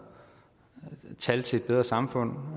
tal til et bedre samfund